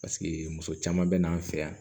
Paseke muso caman bɛ n'an fɛ yan